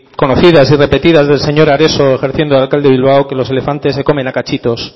conocidas y repetidas del señor areso ejerciendo de alcalde de bilbao que los elefantes se comen a cachitos